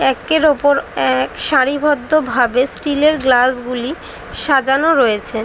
একের ওপর এক সারিবদ্ধ ভাবে স্টিল -এর গ্লাস -গুলি সাজানো রয়েছে।